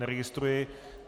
Neregistruji.